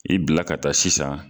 I bila ka taa sisan.